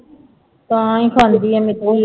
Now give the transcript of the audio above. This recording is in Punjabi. ਤਾਂਹੀ ਖਾਂਦੀ ਹੈ ਮਿੱਟੀ।